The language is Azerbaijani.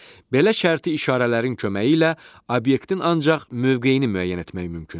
Belə şərti işarələrin köməyi ilə obyektin ancaq mövqeyini müəyyən etmək mümkündür.